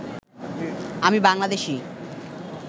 আমি বাংলাদেশী